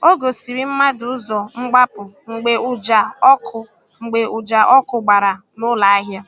Ọ gòsìrì̀ mmadụ ụzọ́ mgbapụ̀ mgbe ụja ọkụ̀ mgbe ụja ọkụ̀ gbara n’ụlọ ahịa.